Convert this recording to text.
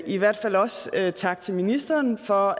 i hvert fald også gerne sige tak til ministeren for